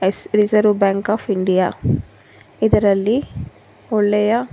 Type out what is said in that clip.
ಅಸ reserve bank of India ಇದರಲ್ಲಿ ಒಳ್ಳೆಯ--